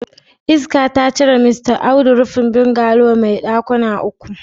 Iska ta cire Mista Audu rufin bungalow mai dakuna uku.